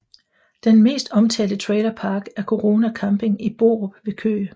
Den mest omtalte trailerpark er Corona Camping i Borup ved Køge